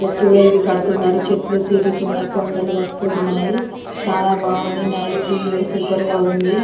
కడుతున్నారు. చెట్లు తిరుగుతున్నారు. కొండలు వస్తున్నాయి. చాలా బాగుంది. నైస్ వీడియోస్ సూపర్ గా ఉంది.